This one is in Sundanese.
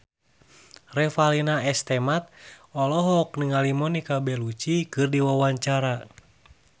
Revalina S. Temat olohok ningali Monica Belluci keur diwawancara